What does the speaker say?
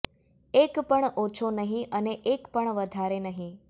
એક પણ ઓછો નહીં અને એક પણ વધારે નહીં